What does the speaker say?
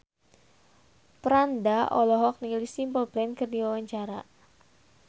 Franda olohok ningali Simple Plan keur diwawancara